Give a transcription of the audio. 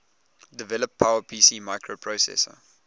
develop powerpc microprocessor